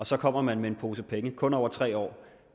så kommer man med en pose penge kun over tre år